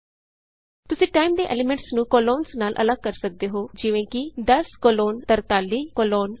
ਤੁਸੀਂ ਟਾਈਮ ਦੇ ਐਲੀਮੈਂਟਸ ਨੂੰ ਕੋਲੋਨਜ਼ ਨਾਲ ਅੱਲਗ ਕਰ ਸਕਦੇ ਹੋ ਜਿਵੇਂ ਕਿ 10 ਕੋਲੋਨ 43 ਕੋਲੋਨ 20